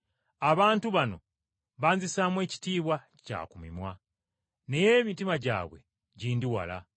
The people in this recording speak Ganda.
“ ‘Abantu bano banzisaamu ekitiibwa kya ku mimwa.’ Naye emitima gyabwe gindi wala.